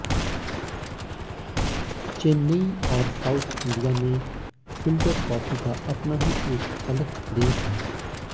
चेन्नई और south India में filter coffee का अपना ही एक अलग क्रेज है